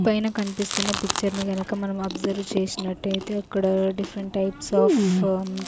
పైన కన్పిస్తున్న పిక్చర్ నీ గనక మనం అబ్జర్వ్ చేసినట్టైతే అక్కడ డిఫరెంట్ టైప్స్ ఆఫ్ --